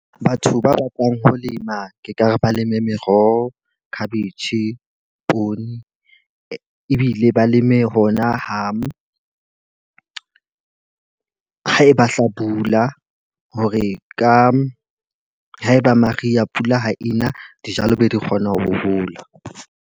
Batho ba bakwang ho lema ke ka re ba leme meroho, cabbage, poone. Ebile ba leme ho na hang ha eba hlabula hore ka ha e ba mariha pula ha ena, dijalo be di kgona ho hola.